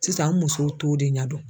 Sisan an musow t'o de ɲɛdɔn.